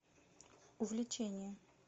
увлечение